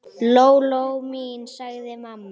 Lóa-Lóa mín, sagði mamma.